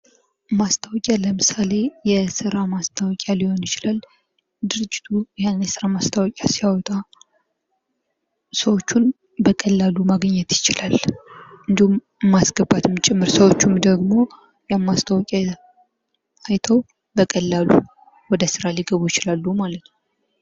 ማስታወቂያ ለምሳሌ የስራ ማስታወቂያ ሊሆን ይችላል። ድርጅቱ ያን የስራ ማስታወቂያ ሲያወጣ ሰዎችን በቀላሉ ማግኘት ይችላል። እንዲሁም ማስገባትም ጭምር ሰዎቹም ደግሞ ያን ማስታወቂያ አይተዉ በቀላሉ ወደ ስራ ሊገቡ ይችላሉ ማለት ነዉ።